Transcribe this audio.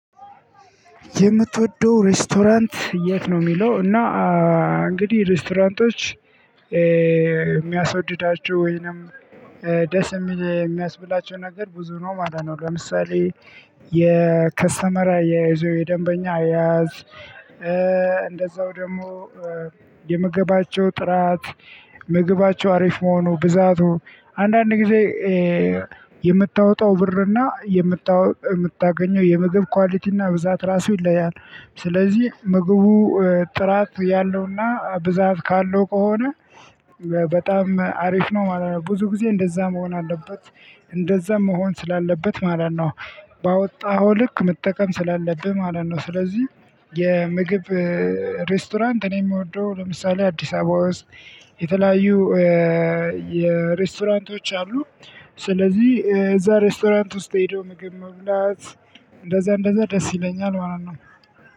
የምትወደው ሬስቶራንት የት ነው? የሚለው እና እንግዲህ ሬስቶራንቶች የሚያስወድዳችሁ ወይንም ደስ የሚል የሚያስብላቸው ነገር ብዙ ነው ማለት ነው። ለምሳሌ የከስተመር አያያዝ ወይ የደንበኛ አያያዝ። እንደዛው ደግሞ የምግባቸው ጥራት ምግባቸው አሪፍ መሆኑ ብዛቱ አንዳንድ ጊዜ የምታወጣው ብርና የምታገኘው የምግብ ኳሊቲና ብዛት ራሱ ይለያያል። ስለዚህ ምግቡ ጥራት ያለውና ብዛት ካለው ከሆነ በጣም አሪፍ ነው ማለት ነው። ብዙ ጊዜ እንደዛ መሆን አለበት እንደዛም መሆን ስላለበት ማለት ነው። ባወጣኸው ልክ መጠቀም ስላለብህ ማለት ነው። ስለዚህ የምግብ ሬስቶራንት እኔ የምወደው ለምሳሌ አዲስ አበባ ውስጥ የተለያዩ የሬስቶራንቶች አሉ ስለዚህ እዛ ሬስቶራንት ውስጥ ተሄዶ ምግብ መብላት እንደዛ እንደዛ ደስ ይለኛል ማለት ነው።